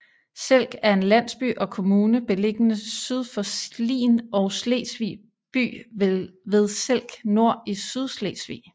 Selk er en landsby og kommune beliggende syd for Slien og Slesvig by ved Selk Nor i Sydslesvig